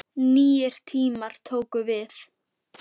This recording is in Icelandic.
Nýir tímar tóku við.